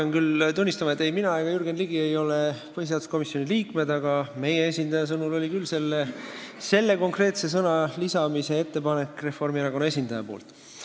Ma pean tunnistama, et ei mina ega Jürgen Ligi ei ole põhiseaduskomisjoni liikmed, aga meie esindaja sõnul tuli selle konkreetse sõna lisamise ettepanek küll Reformierakonna esindajalt.